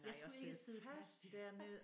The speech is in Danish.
Jeg skulle ikke sidde fast